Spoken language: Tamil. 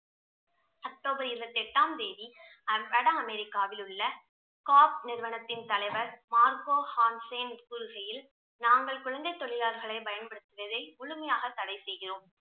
அக்டோபர் இறுபத்தி எட்டாம் தேதி அமெரிக்காவில் உள்ள நிறுவனத்தில் உள்ள தலைவர் கூறுகையில் நாங்கள் குழந்தை தொழிலாளர்களை பயன்படுத்துவதை முழுமையாக தடை செய்கிறோம்